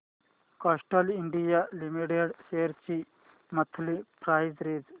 Castrol India limited shares ची monthly price range